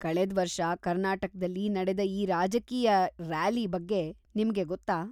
ಕಳೆದ್ವರ್ಷ ಕರ್ನಾಟಕ್ದಲ್ಲಿ ನಡೆದ ಈ ರಾಜಕೀಯ ರ್ಯಾಲಿ ಬಗ್ಗೆ ನಿಮ್ಗೆ ಗೊತ್ತಾ?